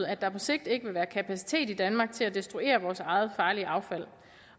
at der på sigt ikke vil være kapacitet i danmark til at destruere vores eget farlige affald